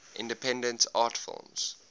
independent art films